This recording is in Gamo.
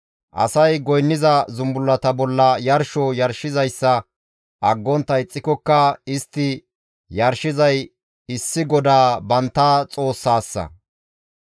Asay goynniza zumbullata bolla yarsho yarshizayssa aggontta ixxikokka istti yarshizay issi GODAA bantta Xoossaasa.